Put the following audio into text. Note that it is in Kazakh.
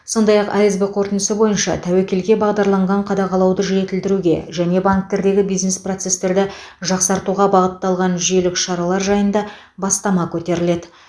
сондай ақ асб қорытындысы бойынша тәуекелге бағдарланған қадағалауды жетілдіруге және банктердегі бизнес процестерді жақсартуға бағытталған жүйелік шаралар жайында бастама көтеріледі